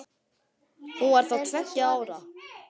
Hún var þá tveggja ára.